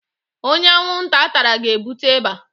Onye anwunta tara ga-ebute ịba